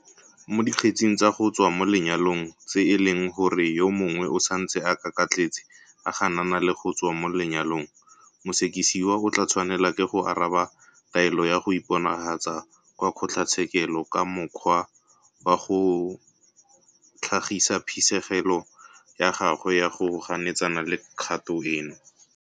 Mo dikgetsing tsa go tswa mo lenyalong tse e leng gore yo mongwe o santse a kakatletse a ganana le go tswa mo lenyalong, mosekisiwa o tla tshwanelwa ke go araba taelo ya go iponagatsa kwa kgotlatshekelo ka mokgwa wa go tlhagisa phisegelo ya gagwe ya go ganetsana le kgato eno.